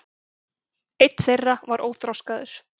einn þeirra er óþroskaður